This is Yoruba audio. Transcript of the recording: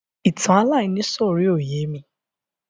Ìtàn aláìníìsọ̀rí ò yémi.